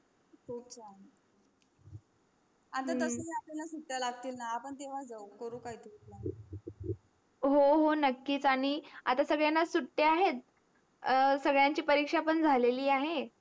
आपल्याल सुट्या लागतील ना आपण तेव्हा जावू कोर काय plan त्याच्या हो हो नक्कीच आनी आता काय सुट्या आहेत सगळ्यांची परीक्षा पण झाली आहे